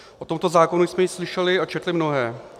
O tomto zákonu jsme již slyšeli a četli mnohé.